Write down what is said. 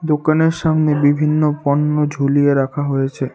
দোকানের সামনে বিভিন্ন পণ্য ঝুলিয়ে রাখা হয়েছে।